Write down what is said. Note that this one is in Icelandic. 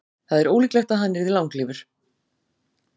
Það er ólíklegt að hann yrði langlífur.